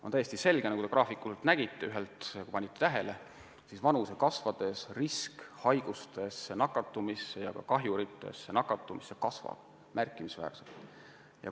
On täiesti selge – nagu te võisite ühelt graafikult näha ja tähele panna –, et vanuse kasvades risk haigustesse nakatuda ja kahjurite läbi kannatada suureneb märkimisväärselt.